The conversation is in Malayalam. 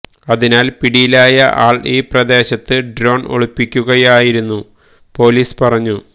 അതിനാല് പിടിയിലായ ആൾ ഈ പ്രദേശത്ത് ഡ്രോണ് ഒളിപ്പിക്കുകയായിരുന്നു പോലീസ് പറഞ്ഞു